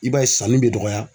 I b'a ye sanni bɛ dɔgɔya.